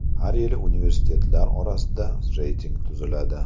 Har yili universitetlar orasida reyting tuziladi.